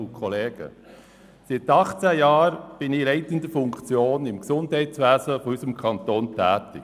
Seit 18 Jahren bin ich in leitender Funktion im Gesundheitswesen unseres Kantons tätig.